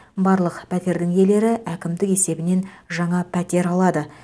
барлық пәтердің иелері әкімдік есебінен жаңа пәтер алады